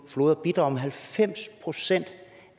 floder bidrager med halvfems procent